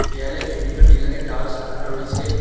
দেয়ালে বিভিন্ন ডিজাইনের টালস সাজানো রয়েছে।